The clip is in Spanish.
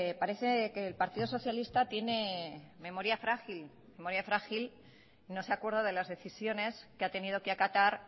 parece que el partido socialista tiene memoria frágil no se acuerda de las decisiones que ha tenido que acatar